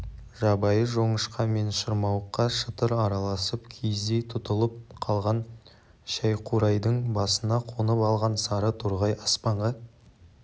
жабайы жоңышқа мен шырмауыққа шытыр араласып киіздей тұтылып қалған шәйқурайдың басына қонып алған сары торғай аспанға